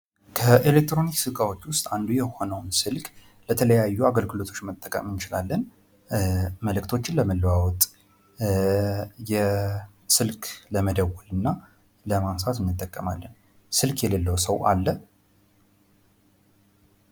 ከኤሌክትሮኒክስ እቃዎች መካከል አንዱ የሆነው ስልክ ለተለያዩ አገልግሎቶች መጠቀም እንችላለን። መልእክቶችን ለመለዋወጥ ስልክ ለመደወል እና ለማንሳት እንጠቀማለን። ስልክ የሌለው ሰው አለ?